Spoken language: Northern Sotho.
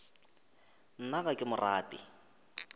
nna ga ke mo rate